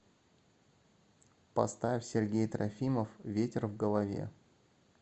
поставь сергей трофимов ветер в голове